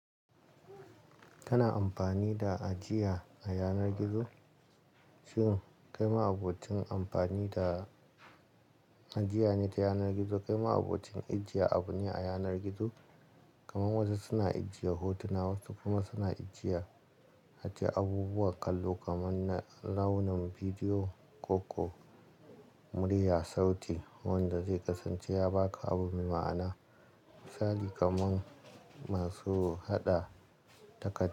Kana amfani da ajiya a yanar gizo? Shin kai ma abokin amfani da ajiya ne ta yanar gizo? Kai ma abokin ajiya abu ne a yanar gizo? Kamar wasu suna ajiye hotuna wasu kuma suna ajiya ace abubuwan kallo kaman rawnin bidiyo, koko, murya, sauti wanda zai kasance ya baka abu mai ma'ana. Misali kaman masu haɗa takad.